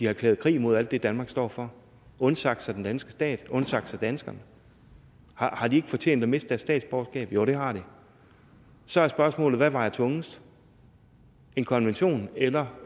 erklæret krig mod alt det danmark står for undsagt sig den danske stat undsagt sig danskerne og har de så fortjent at miste deres statsborgerskab jo det har de så er spørgsmålet hvad der vejer tungest en konvention eller